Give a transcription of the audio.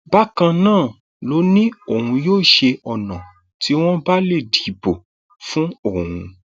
bákan náà ló ní òun yóò ṣe ọnà tí wọn bá lè dìbò fún òun